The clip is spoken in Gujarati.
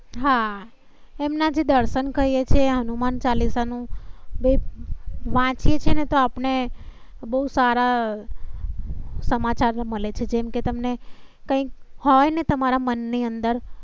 હા. એમ ના થી દર્શન કરીયે છે. હનુમાન ચાલિસા નું. છે વાચીયે છે ને તો આપને બહુ સારા સમાચાર મળે છે. જેમ કે તમ ને કઈ હોય ને તમારા મન ની અંદર